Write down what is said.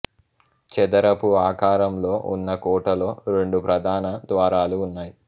చదరపు ఆకారంలో ఉన్న కోటలో రెండు ప్రధాన ద్వారాలు ఉన్నాయి